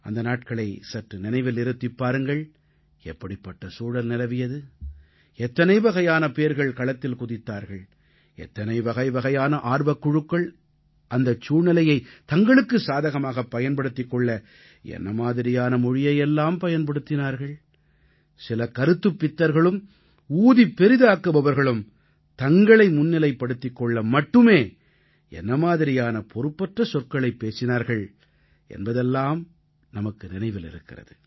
அந்த நாட்களை சற்று நினைவில் இருத்திப் பாருங்கள் எப்படிப்பட்ட சூழல் நிலவியது எத்தனை வகைவகையான பேர்கள் களத்தில் குதித்தார்கள் எத்தனை வகைவகையான ஆர்வக்குழுக்கள் அந்தச் சூழ்நிலையைத் தங்களுக்குச் சாதகமாகப் பயன்படுத்திக் கொள்ள என்ன மாதிரியான மொழியை எல்லாம் பயன்படுத்தினார்கள் சில கருத்துப் பித்தர்களும் ஊதிப் பெரிதாக்குபவர்களும் தங்களை முன்னிலைப்படுத்திக் கொள்ள மட்டுமே என்ன மாதிரியான பொறுப்பற்ற சொற்களைப் பேசினார்கள் என்பதெல்லாம் நமக்கு நினைவிருக்கிறது